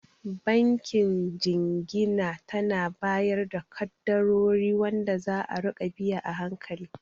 Bankin Jingina tana bayar da kaddarori wanda za'a rika biya a hankali